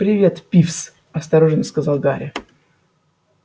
привет пивз осторожно сказал гарри